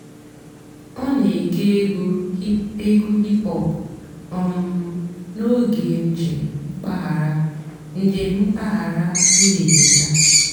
ọ́ nà-ège ègwú ègwú hìp-hòp um n'óge ǹjéém m̀pàghàrà. ǹjéém m̀pàghàrà. m̀gbèdé yá.